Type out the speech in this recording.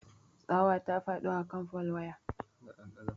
Tsawa ta faɗo a kan fol wayan.